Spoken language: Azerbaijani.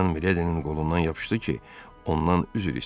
Dartanyan Miledinin qolundan yapışdı ki, ondan üzr istəsin.